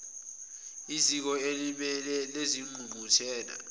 eziko elimile lengqungquthela